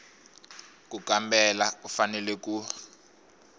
ku kambela u fanele ku